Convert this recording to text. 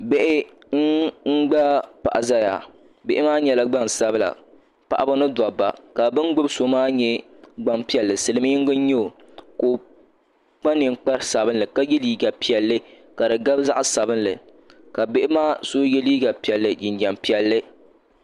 Bihʋ n gbaai paɣa ʒɛya bihi maa nyɛla gbansabila paɣaba ni dabba ka bi ni gbubi so maa nyɛ Gbanpiɛli silmiingi n nyɛ o ka o kpa ninkpari sabinli ka yɛ liiga piɛlli ka di gari zaɣ sabinli ka bihi maa so yɛ liiga piɛlli jinjɛm piɛlli